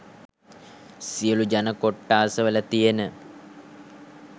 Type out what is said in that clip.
සියලු ජන කොට්ටාස වල තියෙන